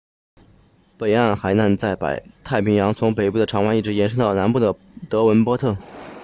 北岸海滩位于北港区内在太平洋上从北部的长湾 long bay 一直延伸到南部的德文波特 devonport